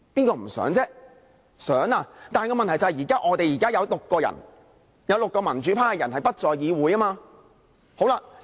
但問題是我們現在有6個人，有6個民主派的人不在議會。